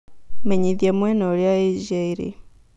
menyĩthĩa mũena ũrĩa Asia ĩrĩ